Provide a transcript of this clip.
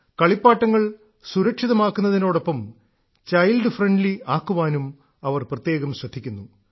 കളിപ്പാട്ടങ്ങൾ സുരക്ഷിതമാക്കുന്നതിനോടൊപ്പം child friendly ആക്കുവാനും അവർ പ്രത്യേകം ശ്രദ്ധിക്കുന്നു